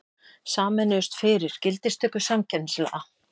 Sameinuðust fyrir gildistöku samkeppnislaga